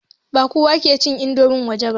Ba kowa ke cin indomin waje ba.